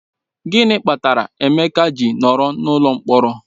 Gịnị kpatara Emeka ji nọrọ n'ụlọ mkpọrọ?